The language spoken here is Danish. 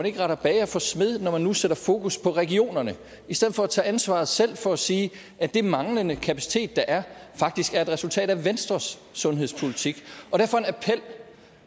ikke retter bager for smed når man nu sætter fokus på regionerne i stedet for at tage ansvaret selv og sige at den manglende kapacitet der er faktisk er et resultat af venstres sundhedspolitik